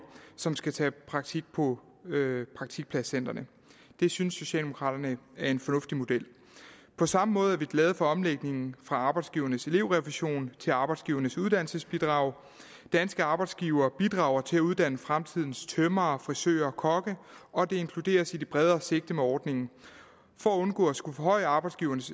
som skal tage praktik på praktikpladscentrene det synes socialdemokraterne er en fornuftig model på samme måde er vi glade for omlægningen fra arbejdsgivernes elevrefusion til arbejdsgivernes uddannelsesbidrag danske arbejdsgivere bidrager til at uddanne fremtidens tømrere frisører og kokke og det inkluderes i det bredere sigte med ordningen for at undgå at skulle forhøje arbejdsgivernes